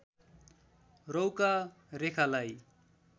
रौंका रेखालाई